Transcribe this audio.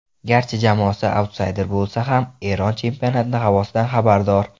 Garchi jamoasi autsayder bo‘lsa ham, Eron chempionati havosidan xabardor.